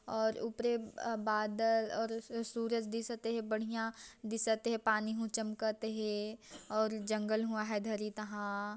और उपरे बादल और स सूरज दिसत हे बढ़िया दिसते पानी हू ह चमकत हे और जंगल हुआ है धरी तहां--